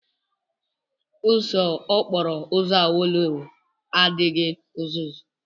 Ụzọ okporo ụzọ Awolowo adịghị uzuzu.